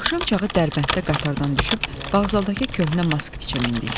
Axşam çağı Dərbənddə qatardan düşüb Bağzaldakı köhnə Moskviçə mindik.